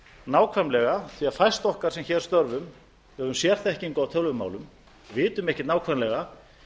nákvæmlega því að fæst okkar sem hér störfum höfum sérþekkingu á tölvumálum vitum ekki nákvæmlega